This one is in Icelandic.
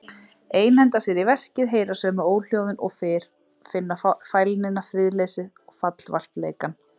Einhenda sér í verkið, heyra sömu óhljóðin og fyrr, finna fælnina, friðleysið, fallvaltleikann.